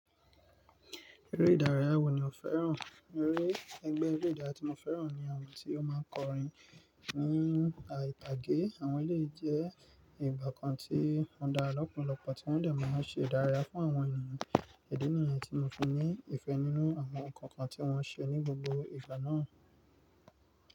Eré ìdárayá wo ni ò fẹ́ràn? Eré ẹgbẹ́ eré ìdárayá tí mo fẹ́ràn ni àwọn tí ó máa ń kọrin ní ori itàgé. Àwọn ilé jẹ́ ìgbà kan tí wọ́n dá lọ́pọ̀lọ́pọ̀ tí wọ́n dẹ̀ máa ń ṣe ìdárayá fún àwọn ènìyàn. Idí ni yẹ́n tí mo fi ní ìfẹ́ nínú àwọn nǹkan kan tí wọ́n ṣe ní gbogbo ìgbà náà.